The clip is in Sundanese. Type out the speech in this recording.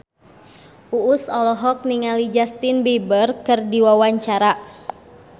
Uus olohok ningali Justin Beiber keur diwawancara